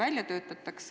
Aeg!